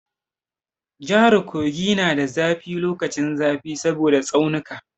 Jahar Kogi na da zafi lokacin zafi saboda tsaunika.